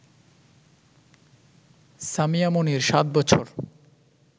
সামিয়া মনির ৭ বছর